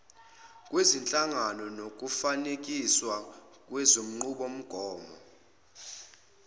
zezinhlangano nokufanekiswa kwezinqubomgomo